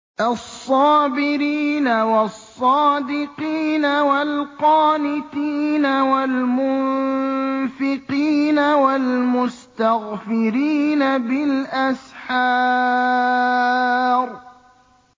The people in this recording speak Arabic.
الصَّابِرِينَ وَالصَّادِقِينَ وَالْقَانِتِينَ وَالْمُنفِقِينَ وَالْمُسْتَغْفِرِينَ بِالْأَسْحَارِ